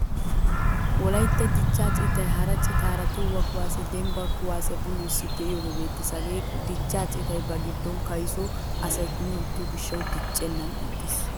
Wolaytta dichcha citay hara citaara toho kuwasiyaa dembban kuwasiya bululisidi deiyoge beettees. Hagee dichcha citay ba giddon kayso asay kumi utto gishshawu diccenan ixxiis.